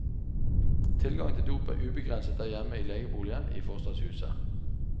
Tilgangen til dop er ubegrenset der hjemme i legeboligen i forstadshuset.